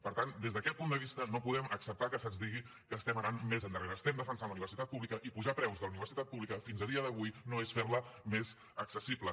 per tant des d’aquest punt de vista no podem acceptar que se’ns digui que estem anant més endarrere estem defensant la universitat pública i apujar preus de la universitat pública fins a dia d’avui no és fer la més accessible